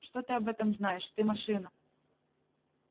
что ты об этом знаешь ты машина